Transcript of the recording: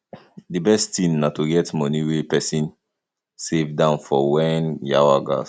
di best thing na to get money wey person dey save down for when yawa gas